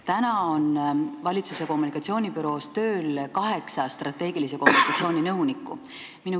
Täna on valitsuse kommunikatsioonibüroos tööl kaheksa strateegilise kommunikatsiooni nõunikku.